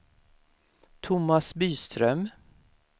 Tomas Byström